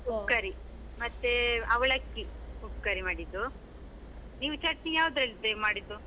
ಮತ್ತೆ ಅವಲಕ್ಕಿ, ಉಪ್ಕರಿ ಮಾಡ್ದಿದ್ದು, ನೀವ್ ಚಟ್ನಿ ಯಾವ್ದ್ರಲ್ಲಿ ಮಾಡಿದ್ದು?